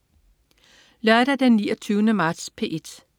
Lørdag den 29. marts - P1: